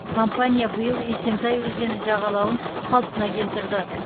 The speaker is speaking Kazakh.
компания биыл есентай өзені жағалауын қалпына келтірді